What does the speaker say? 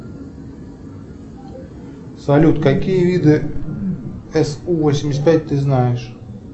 салют какие виды су восемьдесят пять ты знаешь